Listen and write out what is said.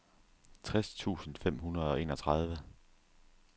tres tusind fem hundrede og enogtredive